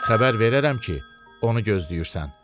Xəbər verərəm ki, onu gözləyirsən.